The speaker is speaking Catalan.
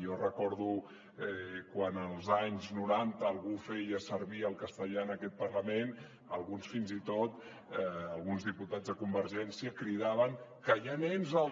jo recordo quan als anys noranta algú feia servir el castellà en aquest parlament alguns fins i tot alguns diputats de convergència cridaven que hi ha nens a